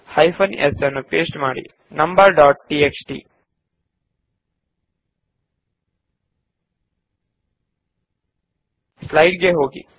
paste hyphen s numbers dot TXT slide ಗೆ ಹೋಗಿ